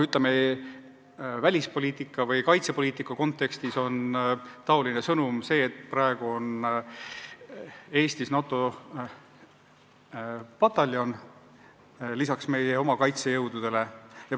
Ütleme, välispoliitika või kaitsepoliitika kontekstis on niisugune sõnum see, et praegu on Eestis lisaks meie oma kaitsejõududele NATO pataljon.